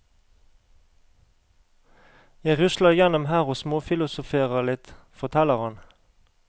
Jeg rusler gjennom her og småfilosoferer litt, forteller han.